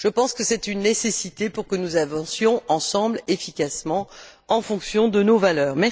Je pense que c'est une nécessité pour que nous avancions ensemble, efficacement, en fonction de nos valeurs.